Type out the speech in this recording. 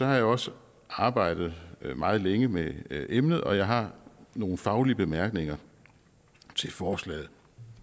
har jeg også arbejdet meget længe med emnet og jeg har nogle faglige bemærkninger til forslaget